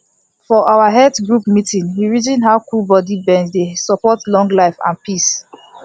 for our health group meeting we reason how cool body bend dey support longlife and peace